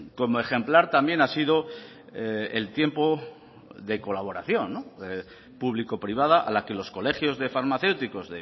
como ejemplar también ha sido el tiempo de colaboración público privada a la que los colegios de farmacéuticos